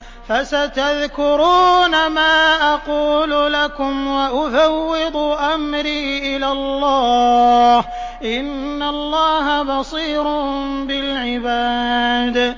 فَسَتَذْكُرُونَ مَا أَقُولُ لَكُمْ ۚ وَأُفَوِّضُ أَمْرِي إِلَى اللَّهِ ۚ إِنَّ اللَّهَ بَصِيرٌ بِالْعِبَادِ